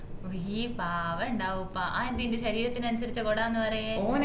ഉയ്യയ് പാവണ്ടാവ്പ്പ അതെന്തേ ഇന്റെ ശരീരത്തിനനുസരിച്ച കോട ന്ന് പറയും